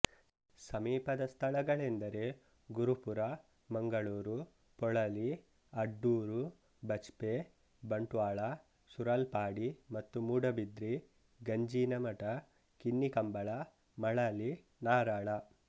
ಸಮೀಪದ ಸ್ಥಳಗಳೆಂದರೆ ಗುರುಪುರ ಮಂಗಳೂರು ಪೊಳಲಿ ಅಡ್ಡೂರು ಬಜ್ಪೆ ಬಂಟ್ವಾಳ ಸುರಲ್ಪಾಡಿ ಮತ್ತು ಮೂಡಬಿದ್ರಿ ಗಂಜಿನಮಠ ಕಿನ್ನಿಕಂಬಳ ಮಳಲಿ ನಾರಳ